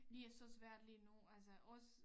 De er så svært lige nu altså også